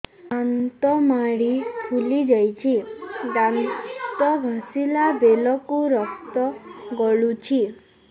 ଦାନ୍ତ ମାଢ଼ୀ ଫୁଲି ଯାଉଛି ଦାନ୍ତ ଘଷିଲା ବେଳକୁ ରକ୍ତ ଗଳୁଛି